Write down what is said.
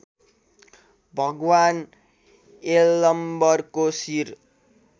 भगवान् यलम्बरको शिर